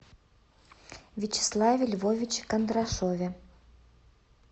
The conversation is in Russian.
вячеславе львовиче кондрашове